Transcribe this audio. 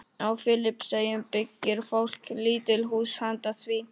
Á Filippseyjum byggir fólk lítil hús handa því.